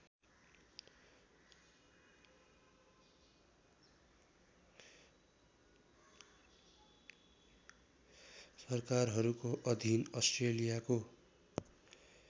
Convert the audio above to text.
सरकारहरूको अधीन अस्ट्रेलियाको